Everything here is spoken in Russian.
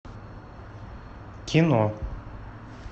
кино